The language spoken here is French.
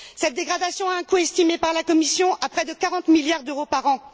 Cette dégradation a un coût estimé par la Commission à près de 40 milliards d'euros par an.